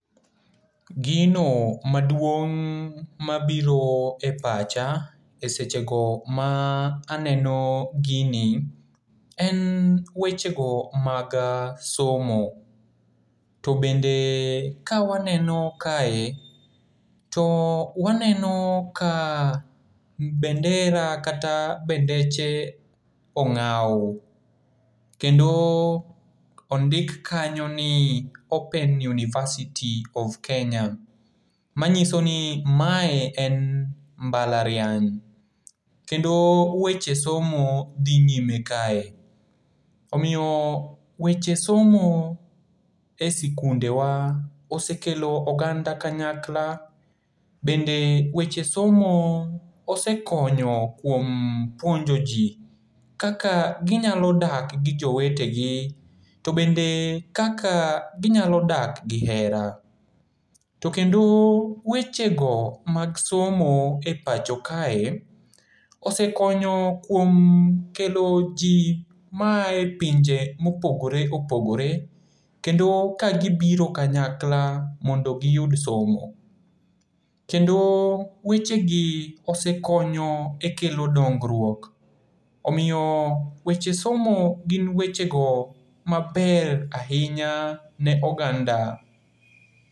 Gino maduong' mabiro e pacha e sechego ma aneno gini en wechego mag somo. To bende ka waneno kae, to waneno ka bendera kata bendeche ong'aw, kendo ondik kanyo ni open university of Kenya, manyiso ni mae en mbalariany kendo weche somo dhi nyime kae, omiyo weche somo e sikundewa osekelo oganda kanyakla bende weche somo osekonyo kuom puonjo ji kaka ginyalo dak gi jowetegi to bende kaka ginyalo dak gi hera, to kendo wechego mag somo e pacho kae osekonyo kuom kelo ji ma aye pinje mopogore opogore kendo kagibiro kanyakla mondo giyud somo. Kendo wechegi osekonyo e kelo dongruok, omiyo weche somo gin wechego maber ahinya ne oganda.